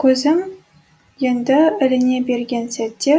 көзім енді іліне берген сәтте